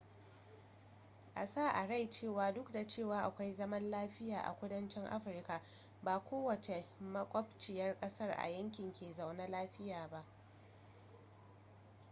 a sa a rai cewa duk da cewa akwai zaman lafiya a kudanci afirka ba kowacce makwabciyar kasa a yankin ke zaune lafiya ba